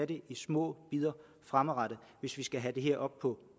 det i små bidder fremadrettet hvis vi skal have det her op på